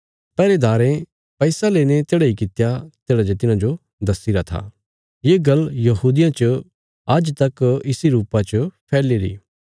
पैहरेदारें पैसा लेईने तेढ़ा इ कित्या तेढ़ा जे तिन्हांजो दस्सीरा था ये गल्ल यहूदियां च आज्ज तक इसी रुपा च फैलीरी